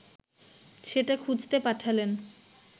সেটা খুঁজতে পাঠালেন